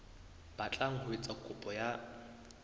batlang ho etsa kopo ya